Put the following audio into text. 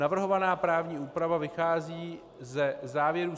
Navrhovaná právní úprava vychází ze závěrů